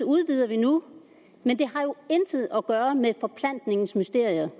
udvider vi nu men det har jo intet at gøre med forplantningens mysterier